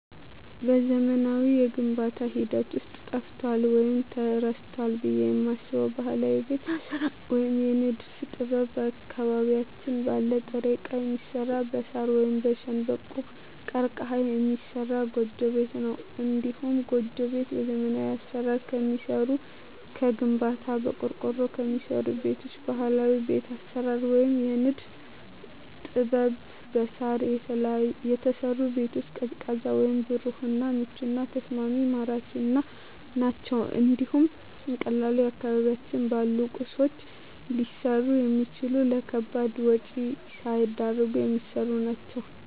በዘመናዊው የግንባታ ሂደት ውስጥ ጠፍቷል ወይም ተረስቷል ብየ የማስበው ባህላዊ የቤት አሰራር ወይም የንድፍ ጥበብ አካባቢያችን ባለ ጥሬ እቃ የሚሰራ በሳር ወይም በሸንበቆ(ቀርቀሀ) የሚሰራ ጎጆ ቤት ነው። እንዲሁም ጎጆ ቤት በዘመናዊ አሰራር ከሚሰሩ ከግንባታ፣ በቆርቆሮ ከሚሰሩ ቤቶች በባህላዊ ቤት አሰራር ወይም የንድፍ ጥበብ በሳር የተሰሩ ቤቶች ቀዝቃዛ ወይም ብሩህ እና ምቹና ተስማሚ ማራኪ ናቸው እንዲሁም በቀላሉ አካባቢያችን ባሉ ቁሶች ሊሰሩ የሚችሉ ለከባድ ወጭ ሳይዳርጉ የሚሰሩ ናቸው።